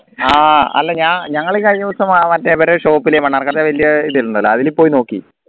ആഹ് അല്ല ഞാൻ ഞങ്ങള് ഈ കഴിഞ്ഞ ദിവസം അഹ് മറ്റേ ഇവരെ shop ൽ മണ്ണാർക്കാട് വലിയ അതിൽ പോയി നോക്കി